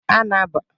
ee, anagbatara m.